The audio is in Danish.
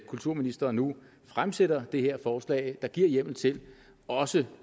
kulturministeren nu fremsætter det her forslag der giver hjemmel til også